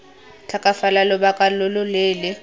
tlhokafala lobaka lo lo leele